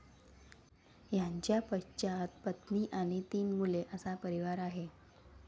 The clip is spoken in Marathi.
यांच्या पश्चात पत्नी आणि तीन मुले असा परिवार आहे.